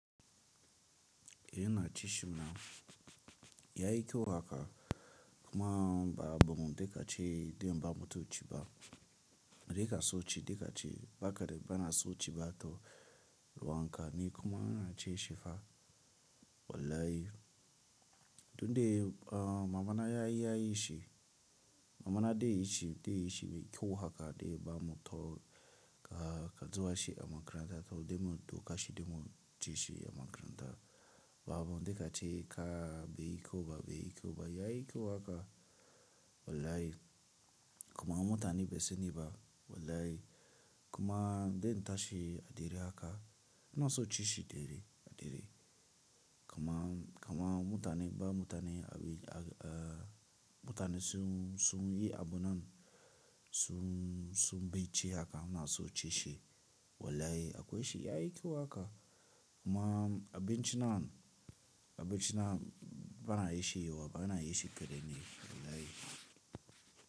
Eh ina cin shi ma. Yayi kyau haka kuma babu, duk da cewa idan ba mutum ci ba, na dika so ci, duk da cewa ba kadai bana so ci ba to ruwan ƙani kuma na ci shi fa. Wallahi. Don dai, ah mamana ya yi, ya yi shi. Mamana dai ya ci, dai ya ci mai kyau haka dai ba mutum, ka, ka duba shi a makaranta toh, dai mutum ka shi dai mutum ci shi a magaranta. Babu duk da cewa ka, bai yi kyau ba, bai yi kyau ba, yayi kyau haka. Wallahi. Kuma mutane bai sani ba. Wallahi. Kuma dan na tashi a dare haka, bana so ci shi dare, a dare. Kaman, kaman mutane ba mutane, mutane sun, sun yi abun nan, sun, sun baici haka ina so ci shi. Wallahi akwai shi yayi kyau haka. Kuma abinci nan, abinci nan bana yi shi yauwa, bana yi shi karami ne. Wallahi.